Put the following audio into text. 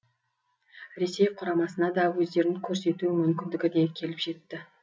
ресей құрамасына да өздерін көрсету мүмкіндігі де келіп жетті